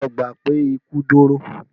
Lọ gbà pé ikú dóró!